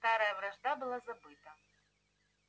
старая вражда была забыта